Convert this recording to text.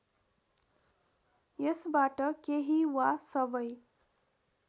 यसबाट केही वा सबै